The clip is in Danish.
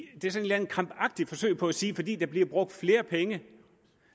eller andet krampagtigt forsøg på at sige at fordi der bliver brugt flere penge